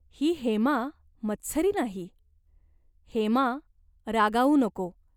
ही हेमा मत्सरी नाही." "हेमा. रागावू नको.